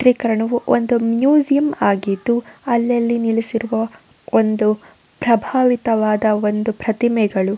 ಚಿತ್ರೀಕರಣವು ಒಂದು ಮ್ಯೂಸಿಯಂ ಆಗಿದ್ದು ಅಲ್ಲಲ್ಲಿ ನಿಲ್ಲಿಸಿರುವ ಒಂದು ಪ್ರಬಾವಿತವಾದ ಒಂದು ಪ್ರತಿಮೆಗಳು.